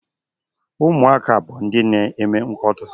Ụmụaka bụ ndị na-eme mkpọtụ.